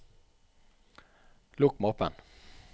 lukk mappen